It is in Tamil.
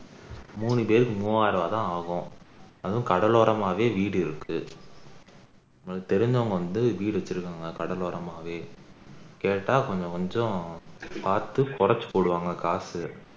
மூனு பேருக்கு மூவாயிரம் ரூபாய் தான ஆகும் அதுவும் கடலோரமாவே வீடு இருக்கு எங்களுக்கு தெரிஞ்சவங்க வந்து வீடு வச்சிருக்காங்க கடலோரமாவே கேட்டா கொஞ்சம் கொஞ்சம் பாத்து குறைச்சு போடுவாங்க காசு